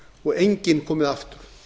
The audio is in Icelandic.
og enginn komið aftur